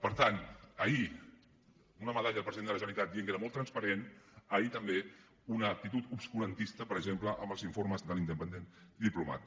per tant ahir una medalla al president de la generalitat dient que era molt transparent ahir també una actitud obscurantista per exemple amb els informes de l’independent diplomat